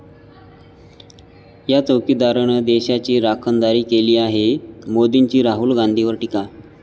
या चौकीदारानं देशाची राखणदारी केली आहे', मोदींची राहुल गांधींवर टीका